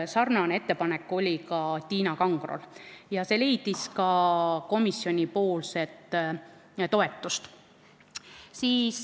Sarnane ettepanek oli ka Tiina Kangrol ja see leidis ka komisjoni toetust.